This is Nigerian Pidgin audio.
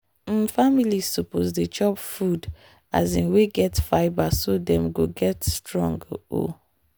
um families suppose dey chop food um wey get fibre so dem go dey strong. um